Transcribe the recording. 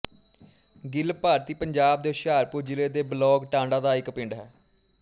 ਗਿਲ ਭਾਰਤੀ ਪੰਜਾਬ ਦੇ ਹੁਸ਼ਿਆਰਪੁਰ ਜ਼ਿਲ੍ਹੇ ਦੇ ਬਲਾਕ ਟਾਂਡਾ ਦਾ ਇੱਕ ਪਿੰਡ ਹੈ